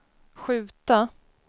skjuta